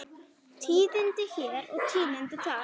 Tíðindi hér og tíðindi þar.